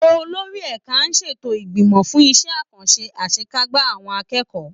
Olórí ẹ̀ka á ṣètò ìgbìmọ̀ fún iṣẹ́ àkànṣe àṣekágbá àwọn akẹ́kọ̀ọ́